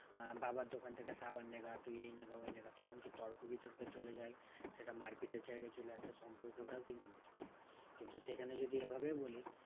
আহ বাবার দোকান থেকে সাবান নেগা তুই এই নেগা ওই গেনা তখন কেউ তর্ক বিতর্কে চলে যায়। সেটা মারপিটের জায়গায় চলে আসে সম্পর্কটাও কিন্তু নষ্ট হয়। কিন্তু সেখানে যদি এভাবে বলিস